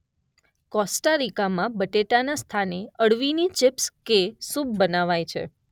Costa રિકામાં બટેટાને સ્થાને અળવીની ચીપ્સ કે સૂપ બનાવાય છે.